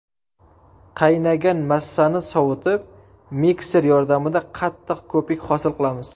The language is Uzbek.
Qaynagan massani sovutib, mikser yordamida qattiq ko‘pik hosil qilamiz.